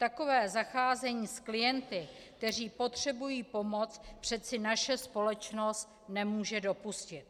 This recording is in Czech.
Takové zacházení s klienty, kteří potřebují pomoc, přece naše společnost nemůže dopustit.